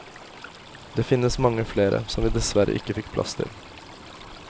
Det finnes mange flere, som vi dessverre ikke fikk plass til.